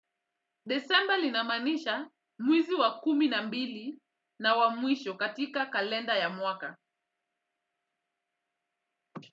Disemba linamaanisha mwezi wa kumi na mbili na wa mwisho katika kalenda ya mwaka.